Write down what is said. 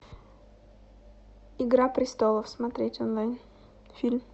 игра престолов смотреть онлайн фильм